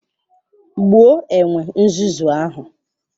Gbuo enwe nzuzu ahụ!